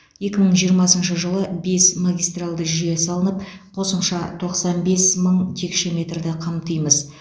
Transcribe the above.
екі мың жиырмасыншы жылы бес магистралды жүйе салынып қосымша тоқсан бес мың текше метрді қамтимыз